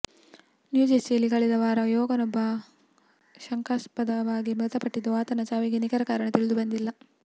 ನ್ಯೂಜೆರ್ಸಿಯಲ್ಲಿ ಕಳೆದ ವಾರ ಯುವಕನೊಬ್ಬ ಶಂಕಾಸ್ಪದವಾಗಿ ಮೃತಪಟ್ಟಿದ್ದು ಆತನ ಸಾವಿಗೆ ನಿಖರ ಕಾರಣ ತಿಳಿದುಬಂದಿಲ್ಲ